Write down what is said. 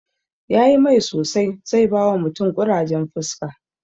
Yayi mai sosai, zai bawa mutum ƙurajen fuska